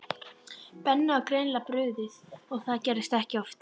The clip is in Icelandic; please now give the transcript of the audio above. Benna var greinilega brugðið og það gerðist ekki oft.